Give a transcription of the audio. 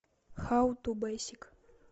хау ту бейсик